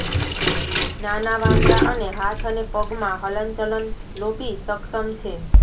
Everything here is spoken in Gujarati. નાના વાંદરા અને હાથ અને પગ માં હલનચલન લોભી સક્ષમ છે